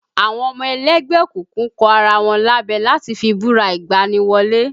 Àwọn ọmọ ẹlẹ́gbẹ́ òkùnkùn kọ ara wọn lábẹ láti fi búra ìgbani wọlé